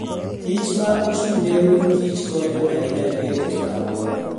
kich ma ochung' ne ruodh kich konyo ahinya e rito alwora.